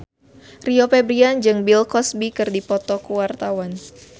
Rio Febrian jeung Bill Cosby keur dipoto ku wartawan